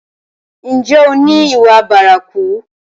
Ǹjẹ́ o ni ìwà bárakú?